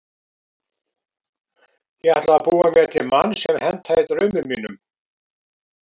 Ég ætlaði að búa mér til mann sem hentaði draumum mínum.